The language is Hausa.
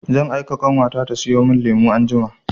Zan aika ƙanwata ta sayo min lemu anjima.